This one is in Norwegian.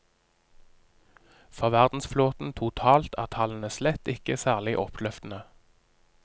For verdensflåten totalt er tallene slett ikke særlig oppløftende.